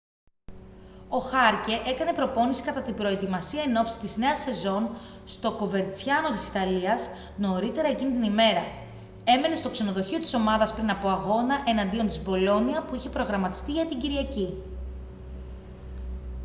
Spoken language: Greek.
ο χάρκε έκανε προπόνηση κατά την προετοιμασία ενόψει της νέας σεζόν στο κοβερτσιάνο της ιταλίας νωρίτερα εκείνη την ημέρα έμενε στο ξενοδοχείο της ομάδας πριν από αγώνα εναντίον της μπολόνια που είχε προγραμματιστεί για την κυριακή